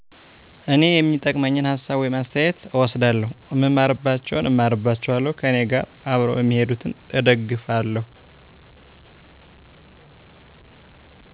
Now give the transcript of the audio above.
እኔ የሚጠቅመኝን ሀሳብ ወይም አስተያተት እወስዳለሁ እማርባቸውን እማርባቸዋለሁ ከእኔጋር አብረው እሚሄዱትን እደግፋለሁ።